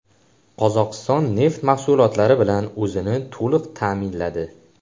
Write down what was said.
Qozog‘iston neft mahsulotlari bilan o‘zini to‘liq ta’minladi.